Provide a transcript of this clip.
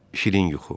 Şirin yuxu.